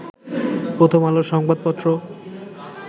প্রথম আলো সংবাদ পত্র